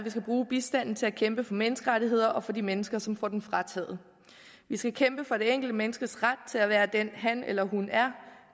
skal bruge bistanden til at kæmpe for menneskerettigheder og for de mennesker som får den frataget vi skal kæmpe for det enkelte menneskes ret til at være den han eller hun er